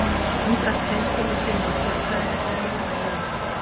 Hann undrast hreinskilni sína og sér bregða fyrir ljóma í augum hennar.